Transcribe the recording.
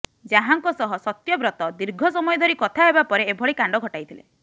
ଯାହାଙ୍କ ସହ ସତ୍ୟବ୍ରତ ଦୀର୍ଘ ସମୟ ଧରି କଥା ହେବା ପରେ ଏଭଳି କାଣ୍ଡ ଘଟାଇଥିଲେ